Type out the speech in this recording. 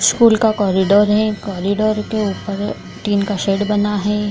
School का corridor है। Corridor के ऊपर टीन का सेड बना है।